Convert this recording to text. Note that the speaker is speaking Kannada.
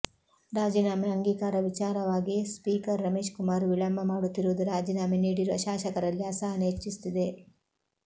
ರಾಜೀನಾಮೆ ಅಂಗೀಕಾರ ವಿಚಾರವಾಗಿ ಸ್ಪೀಕರ್ ರಮೇಶ್ ಕುಮಾರ್ ವಿಳಂಬ ಮಾಡುತ್ತಿರುವುದು ರಾಜೀನಾಮೆ ನೀಡಿರುವ ಶಾಸಕರಲ್ಲಿ ಅಸಹನೆ ಹೆಚ್ಚಿಸುತ್ತಿದೆ